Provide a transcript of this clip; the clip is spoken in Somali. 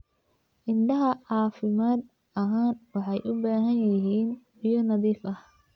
Idaha caafimaad ahaan waxay u baahan yihiin biyo nadiif ah.